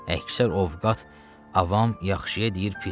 Əksər ovqat avam yaxşıya deyir pisə.